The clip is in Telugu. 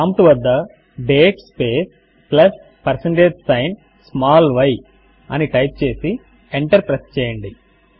ప్రాంప్ట్ వద్ద date space plus percentage sign small y అని టైప్ చేసి ఎంటర్ ప్రెస్ చేయండి